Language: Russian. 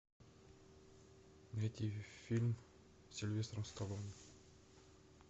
найти фильм с сильвестром сталлоне